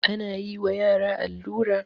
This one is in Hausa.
ana yi wa yara allura